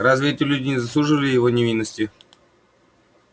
разве эти люди не заслуживали его ненависти